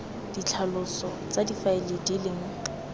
ditlhaloso tsa difaele di leng